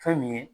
Fɛn min ye